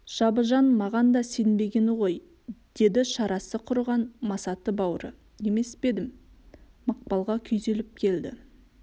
жабыжан маған да сенбегені ғой деді шарасы құрыған масаты бауыры емес пе едім мақпалға күйзеліп келді